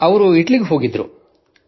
ಅವರು ಇಟಲಿಗೆ ಹೋಗಿದ್ದರು